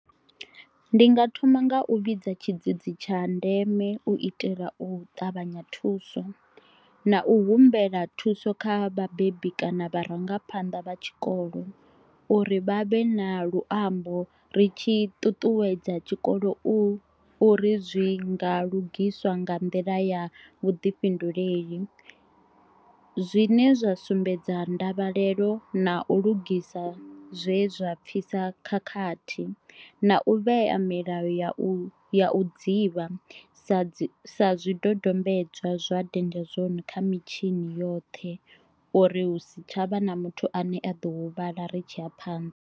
Ndi nga thoma nga u vhidza tshidzidzi tsha ndeme u itela u ṱavhanya thuso, na u humbela thuso kha vhabebi kana vharangaphanḓa vha tshikolo uri vha vhe na luambo ri tshi ṱuṱuwedza tshikolo u uri zwi nga lugiswa nga nḓila ya vhuḓifhinduleli. Zwine zwa sumbedza ndavhelelo na u lugisa zwe zwa pfisa khakhathi na u vhea milayo ya u ya u dzivha sa sa zwidodombedzwa zwa danger zone kha mitshini yoṱhe uri hu si tshavha na muthu ane a ḓo huvhala ri tshi ya phanḓa.